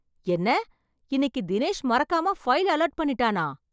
என்ன! இன்னைக்கு தினேஷ் மறக்காம ஃபைல் அலர்ட் பண்ணிட்டானா!